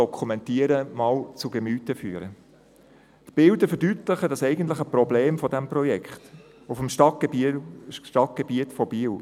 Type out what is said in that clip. Die Bilder verdeutlichen das eigentliche Problem dieses Projekts auf dem Stadtgebiet von Biel: